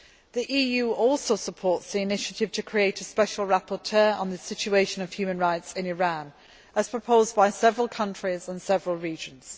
The EU also supports the initiative to create a Special Rapporteur on the situation of human rights in Iran, as proposed by several countries and regions.